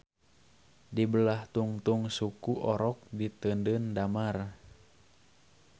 Di belah tungtung suku orok di teundeun dammar.